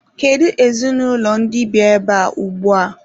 Kedu ezinụlọ ndị bi ebea ugbua?